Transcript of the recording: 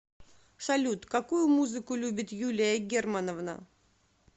салют какую музыку любит юлия германовна